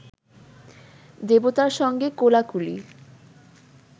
দেবতার সঙ্গে কোলাকুলি